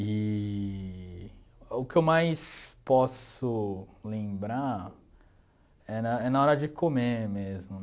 Eee o que eu mais posso lembrar é na é na hora de comer mesmo.